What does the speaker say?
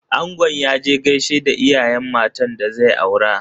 Angon ya je gaishe da iyayen matan da zai aura.